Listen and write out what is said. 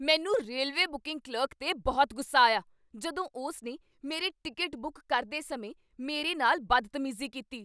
ਮੈਂ railway booking clerk 'ਤੇ ਬਹੁਤ ਗੁੱਸਾ ਆਇਆ ਜਦੋਂ ਉਸਨੇ ਮੇਰੀ ਟਿਕਟ ਬੁੱਕ ਕਰਦੇ ਸਮੇਂ ਮੇਰੇ ਨਾਲ ਬਦਤਮੀਜ਼ੀ ਕੀਤੀ।